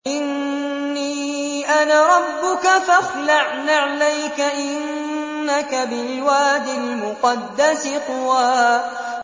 إِنِّي أَنَا رَبُّكَ فَاخْلَعْ نَعْلَيْكَ ۖ إِنَّكَ بِالْوَادِ الْمُقَدَّسِ طُوًى